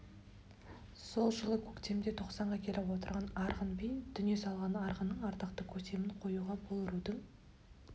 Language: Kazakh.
сол жылы көктемде тоқсанға келіп отырған арғын би дүние салған арғынның ардақты көсемін қоюға бұл рудың